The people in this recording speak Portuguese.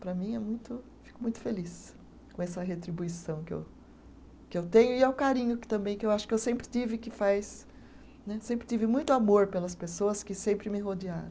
Para mim é muito, fico muito feliz com essa retribuição que eu, que eu tenho e ao carinho que também, que eu acho que eu sempre tive que faz né, sempre tive muito amor pelas pessoas que sempre me rodearam.